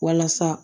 Walasa